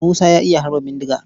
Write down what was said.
Musa ya iya harba bindiga.